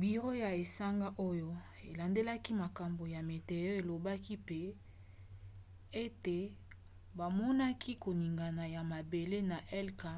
biro ya esanga oyo elandelaka makambo ya meteo elobaki mpe ete bamonaki koningana ya mabele na helka